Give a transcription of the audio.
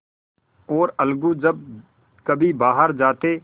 और अलगू जब कभी बाहर जाते